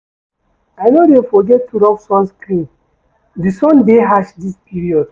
I no dey forget to rob sunscreen, di sun dey harsh dis period.